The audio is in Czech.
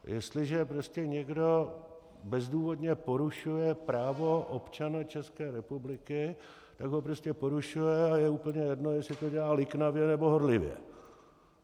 Jestliže prostě někdo bezdůvodně porušuje právo občana České republiky, tak ho prostě porušuje a je úplně jedno, jestli to dělá liknavě, nebo horlivě.